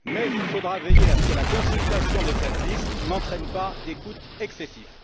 Il faudra toutefois veiller à ce que la consultation de cette liste n'entraîne pas des coûts excessifs.